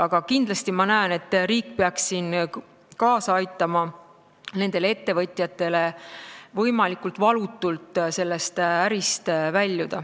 Aga kindlasti ma näen, et riik peaks siin aitama nendel ettevõtjatel võimalikult valutult sellest ärist väljuda.